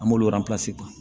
An b'olu ta